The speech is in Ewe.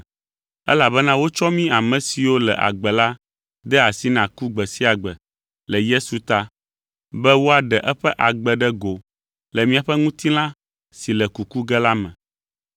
Elabena wotsɔ mí ame siwo le agbe la de asi na ku gbe sia gbe le Yesu ta, be woaɖe eƒe agbe ɖe go le míaƒe ŋutilã si le kuku ge la me.